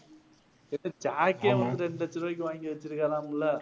லட்ச ரூபாய்க்கு வாங்கி வெச்சிருக்காராமில்லை